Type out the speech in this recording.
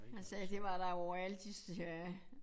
Han sagde det var der overalt i Sverige